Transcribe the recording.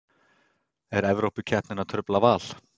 Er Evrópukeppnin að trufla Val?